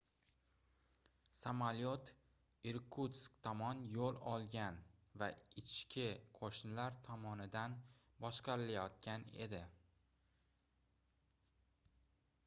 samolyot irkutsk tomon yoʻl olgan va ichki qoʻshinlar tomonidan boshqarilayotgan edi